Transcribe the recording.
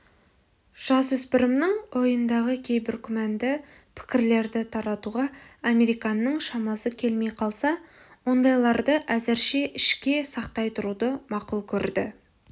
жасөспірімнің ойындағы кейбір күмәнді пікірлерді таратуға американның шамасы келмей қалса ондайларды әзірше ішке сақтай тұруды мақұл көрді